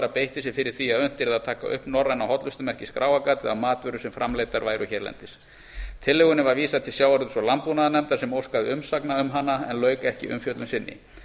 beitti sér fyrir því að unnt yrði að taka upp norræna hollustumerkið skráargatið á matvörur sem framleiddar væru hérlendis tillögunni var vísað til sjávarútvegs og landbúnaðarnefndar sem óskaði umsagna um hana en lauk ekki umfjöllun sinni